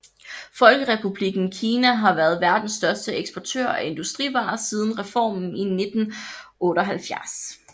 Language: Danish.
Folkerepublikken Kina har været verdens største eksportør af industrivarer siden reformen i 1978